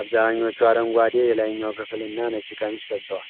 አብዛኞቹ አረንጓዴ የላይኛው ክፍልና ነጭ ቀሚስ ለብሰዋል፤